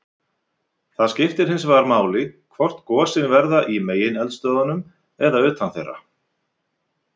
Það skiptir hins vegar máli hvort gosin verða í megineldstöðvunum eða utan þeirra.